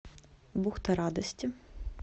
бухта радости